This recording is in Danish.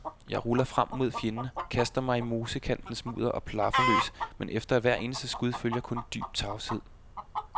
Jeg ruller frem mod fjenden, kaster mig i mosekantens mudder og plaffer løs, men efter hvert eneste skud følger kun dyb tavshed.